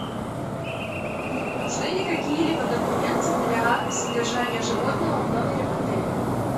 нужны ли какие либо документы для содержания животного в номере в отеле